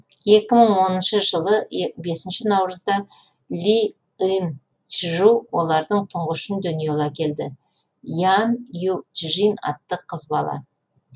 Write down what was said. екі мың оныншы жылы бесінші наурызда ли ын чжу олардың тұңғышын дүниеге әкелді ян ю чжин атты қыз бала